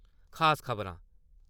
खास खबरां :